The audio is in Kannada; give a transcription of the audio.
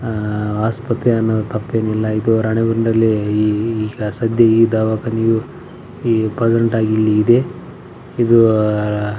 ಆಹ್ಹ್ ಆಸ್ಪತ್ರೆ ಅಂದ್ರೆ ತಪ್ಪೇನಿಲ್ಲ ಇದು ರಾಣಿ ಬೆನ್ನೂರ್ ಅಲ್ಲಿ ಈ ಸದ್ಯ ಈ ದಾವಾಖಾನೆಯೂ ಇಲ್ಲಿ ಇದೆ ಆಹ್ಹ್ ಇದು --